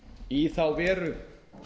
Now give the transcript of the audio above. í þá veru